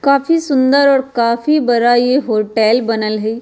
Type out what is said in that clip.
काफी सुन्दर और काफी बड़ा ये होटेल बनल हेय।